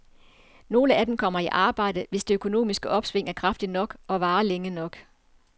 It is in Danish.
Nogle af dem kommer i arbejde, hvis det økonomiske opsving er kraftigt nok og varer længe nok.